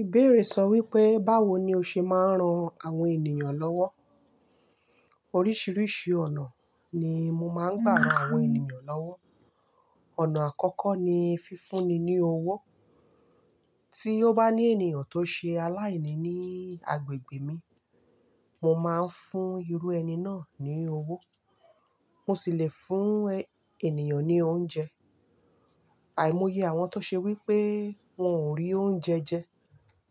Ìbéèrè sọ wípé, báwo ni o ṣe máa ń ran àwọn ènìyàn lọ́wọ́? Oríṣiríṣi ọ̀nà ni mo máa ń gbà ran àwọn ènìyàn lọ́wọ́. Ọ̀nà àkọ́kọ́ ni fífúnni ní owó. Tí ó bá ní ènìyàn tó ṣe aláìní ní agbègbè mi, mo máa ń fún irú ẹni náà ní owó. Mo sì le fún ènìyàn ní oúnjẹ. Àìmọye àwọn tó ṣe wípé wọn ò rí oúnjẹ jẹ,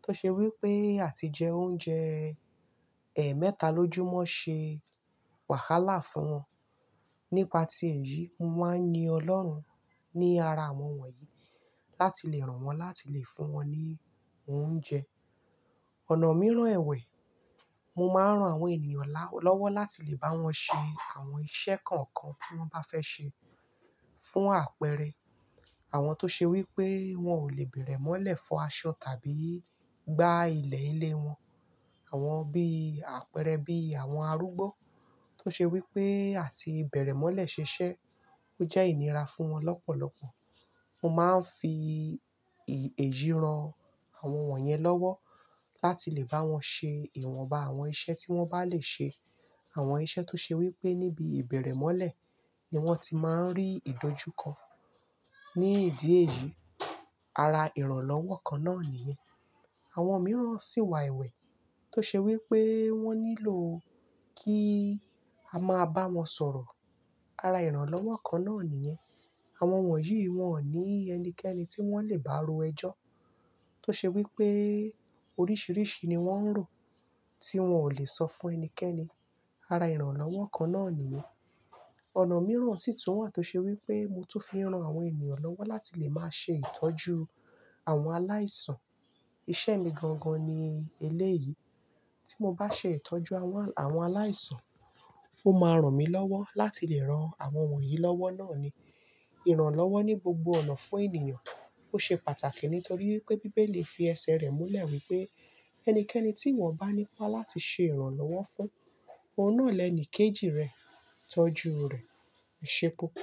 tó ṣe wípé àti jẹ oúnjẹ ẹ̀ mẹ́ta lójúmọ́ ṣe wàhálà fún wọn. Nípa tí èyí, mo máa ń yin Ọlọ́run ní ara àwọn wọ̀nyí láti lè ràn wọ́n láti lè fún wọn ní oúnjẹ. Ọ̀nà mìíràn ẹ̀wẹ̀, mo máa ń ran àwọn ènìyàn lọ́wọ́ láti lè bá wọn ṣe àwọn iṣẹ́ kọ̀ọ̀kan tí wọ́n bá fẹ́ ṣe. Fún àpẹẹrẹ, àwọn tó ṣe wípé wọn ò lè bẹ̀rẹ̀ mọ́lẹ̀ fọ aṣọ tàbí gbá ilẹ̀ ilé wọn. Àwọn bí àpẹẹrẹ bí àwọn arúgbó tó ṣe wípé àti bẹ̀rẹ̀ mọ́lẹ̀ ṣiṣẹ́ ó jẹ́ ìnira fún wọn lọ́pọ̀lọpọ̀. Mo máa ń fi èyí ran àwọn wọ̀nyẹn lọ́wọ́ láti lè bá wọn ṣe ìwọ̀nba àwọn iṣẹ́ tí wọ́n bá lè ṣe. Àwọn iṣẹ́ tó ṣe wípé níbi ìbẹ̀rẹ̀ mọ́lẹ̀ ni wọ́n ti máa ń rí ìdójúko. Ní ìdí èyí, ara ìrànlọ́wọ́ kan náà nìyẹn. Àwọn mìíràn sì wà ẹ̀wẹ̀ tó ṣe wípé wọ́n nílò kí a máa bá wọn sọ̀rọ̀. Ara ìrànlọ́wọ́ kan náà nìyẹn. Àwọn wọ̀nyí wọn ò ní ẹnikẹ́ni tí wọ́n lè bá ro ẹjọ́ tó ṣe wípé oríṣiríṣi ni wọ́n ń rò tí wọn ò lè sọ fún ẹnikẹ́ni. Ara ìrànlọ́wọ́ kan náà nìyẹn. Ọ̀nà mìíràn sì tún wà tó ṣe wípé mo tún fi ran àwọn ènìyàn lọ́wọ́ láti lè máa ṣe ìtọ́jú àwọn aláìsàn. Iṣẹ́ mi gangan ni eléyìí. Tí mo bá ṣe ìtọ́jú àwọn, àwọn aláìsàn, ó máa ràn mí lọ́wọ́ láti lè ran àwọn wọ̀nyí lọ́wọ́ náà ni. Ìrànlọ́wọ́ ní gbogbo ọ̀nà fún ènìyàn ó ṣe pàtàkì nítorí pé Bíbélì fi ẹsẹ̀ rẹ̀ múlẹ̀ wípé ẹnikẹ́ni tí wọ́n bá ní ipá láti ṣe ìrànlọ́wọ́ fún, ọ̀nà na ni kejì rẹ̀ tọ́jú rẹ̀. Ìṣe pupo.